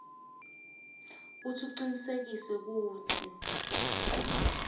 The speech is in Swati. kutsi ucinisekise kutsi